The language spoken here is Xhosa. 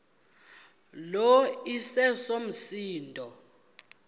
lo iseso msindo